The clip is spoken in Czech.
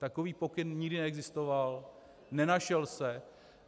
Takový pokyn nikdy neexistoval, nenašel se.